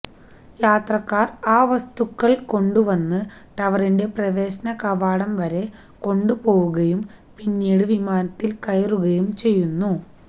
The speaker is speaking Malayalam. യാത്രക്കാർ ആ വസ്തുക്കൾ കൊണ്ടുവന്ന് ടവറിന്റെ പ്രവേശന കവാടം വരെ കൊണ്ടുപോവുകയും പിന്നീട് വിമാനത്തിൽ കയറുകയും ചെയ്യുന്നു